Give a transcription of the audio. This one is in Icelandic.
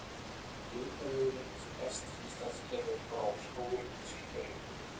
Rekaviðurinn sem berst til Íslands kemur frá skógum Síberíu.